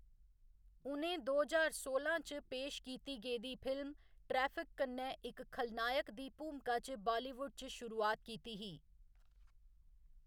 उ'नें दो ज्हार सोलां च पेश कीती गेदी फिल्म 'ट्रैफिक' कन्नै, इक खलनायक दी भूमका च बालीवुड च शुरुआत कीती ही।